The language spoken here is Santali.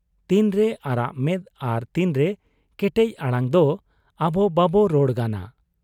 ᱛᱤᱱᱨᱮ ᱟᱨᱟᱜ ᱢᱮᱫ ᱟᱨ ᱛᱤᱱᱨᱮ ᱠᱮᱴᱮᱡ ᱟᱲᱟᱝ ᱫᱚ ᱟᱵᱚ ᱵᱟᱵᱚ ᱨᱚᱲ ᱜᱟᱱᱟ ᱾